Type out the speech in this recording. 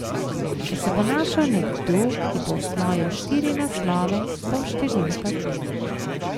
Ko se bo našel nekdo, ki bo osvojil štiri naslove, bom številka dve.